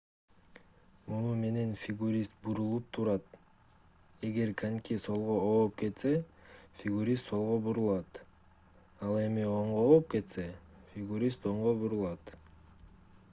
муну менен фигурист бурулуп турат эгер коньки солго ооп кетсе фигурист солго бурулат ал эми оңго ооп кетсе фигурист оңго бурулат